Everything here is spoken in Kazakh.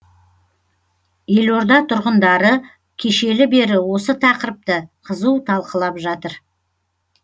елорда тұрғындары кешелі бері осы тақырыпты қызу талқылап жатыр